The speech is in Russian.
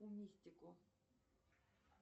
умистико